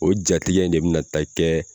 O ja tigɛ in ne bina taa kɛ